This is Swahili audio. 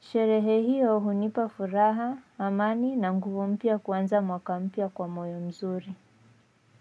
Sherehe hiyo hunipa furaha amani na nguvu mpya ya kwanza mwaka mpya kwa moyo mzuri.